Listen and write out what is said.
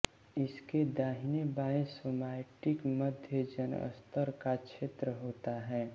इसके दाहिने बाएँ सोमाइटिक मध्यजनस्तर का क्षेत्र होता है